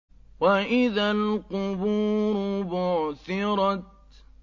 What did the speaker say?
وَإِذَا الْقُبُورُ بُعْثِرَتْ